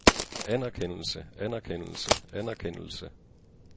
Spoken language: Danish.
anerkendelse anerkendelse anerkendelse